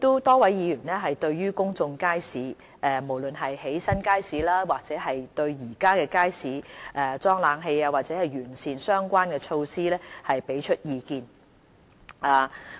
多位議員就公眾街市，無論是建新街市、在現有街市加裝冷氣，還是完善相關措施給予意見。